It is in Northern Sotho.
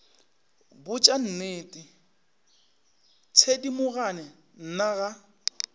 botša nnete thedimogane nna ga